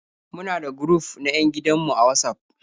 Muna da guruf na 'yan gidan mu a Watsaf.